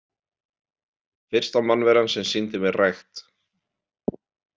Fyrsta mannveran sem sýndi mér rækt.